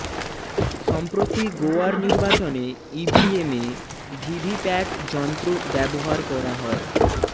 সম্প্রতি গোয়ার নির্বাচনে ইভিএমে ভিভিপ্যাট যন্ত্র ব্যবহার করা হয়